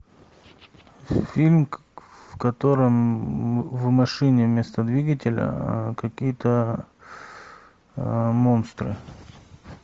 фильм в котором в машине вместо двигателя какие то монстры